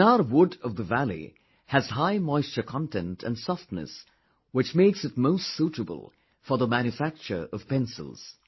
Chinar wood of the valley has high moisture content and softness, which makes it most suitable for the manufacture of pencils